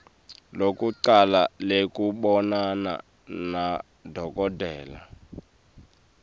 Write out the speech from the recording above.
lekucala lekubonana nadokotela